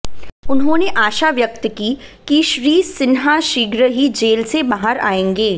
उन्होंने आशा व्यक्त की कि श्री सिन्हा शीघ्र ही जेल से बाहर आयेंगे